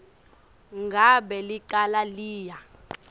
ngabe licala liya